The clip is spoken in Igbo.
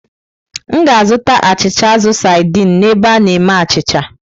M ga-azụta achịcha azụ saidin n'ebe a na-eme achịcha.